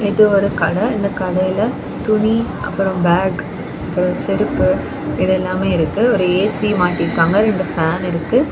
இது ஒரு கடை இந்த கடையில துணி அப்புறம் பேக் அப்புறம் செருப்பு இது எல்லாமே இருக்கு ஒரு ஏ_சி மாட்டி இருக்காங்க ஒரு ஃபேன் இருக்கு.